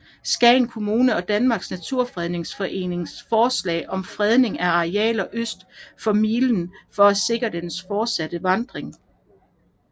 Skagen Kommune og Danmarks Naturfredningsforening forslag om fredning af arealer øst for milen for at sikre dens fortsatte vandring